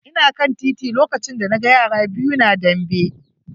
Ina kan titi lokacin da na ga yara biyu na dambe.